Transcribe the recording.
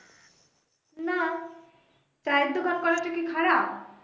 না, চায়ের দোকান করাটা কি খারাপ?